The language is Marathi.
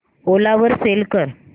ओला वर सेल कर